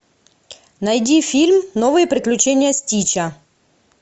найди фильм новые приключения стича